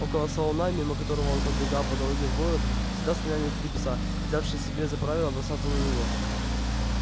около салуна мимо которого он пробегал по дороге в город всегда слонялись три пса взявшие себе за правило бросаться на него